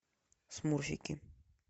смурфики